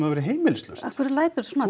verði heimilislaust af hverju læturðu svona